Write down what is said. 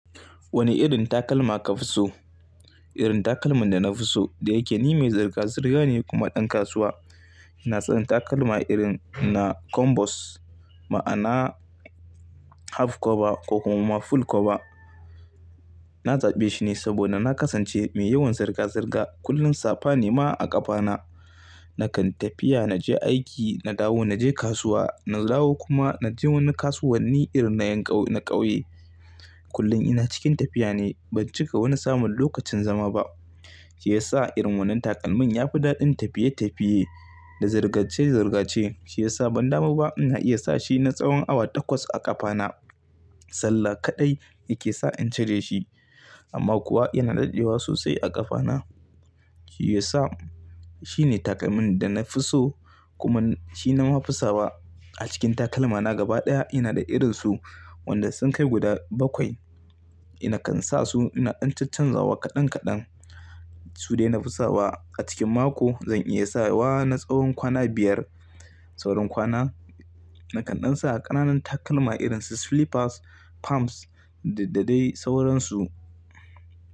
Wane irin takalma ka fi so? Irin takalmin da na fi so da yake ni mai zirga-zirga ne kuma ɗan kasuwa. Na tsani takalma irin na combos, ma'ana half cover ko kuma full cover na zaɓe shi ne saboda na kasance mai yawan zirga-zirga. Kullum safa ne ma a ƙafana. Nakan tafiya, naje aiki, na dawo, naje kasuwa, na dawo kuma naje wani kasuwanni irin na yankau na ƙauye. Kullum ina cikin tafiya ne. Ban cika wani samun lokacin zama ba. Shi yasa irin wannan takalmin ya fi daɗin tafiye-tafiye da zirgace-zirgace. Shi yasa ban damu ba ina iya sa shi na tsawon awa takwas a ƙafana. Sallah kaɗai yake sa in cire shi. Amma kuwa yana daɗewa sosai a ƙafana. Shi yasa shi ne takalmin da na fi so kuma shi na mafi sawa a cikin takalmana gaba ɗaya. Ina da irin su wanda sun kai guda bakwai. Na kan sa su ina ɗan canzawa kaɗan kaɗan. Su dai na fi sawa a cikin mako zan iya sawa na tsawon kwana biyar. Sauran kwana nakan ɗan sa ƙananan takalma irin su slippers, palms da dadai sauran su.